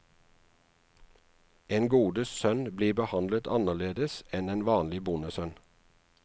En godes sønn blir behandlet annerledes enn en vanlig bondesønn.